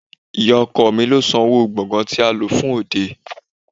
Ì̀yá ọkọ mi lo sanwó gbògán tí a lò fún òde.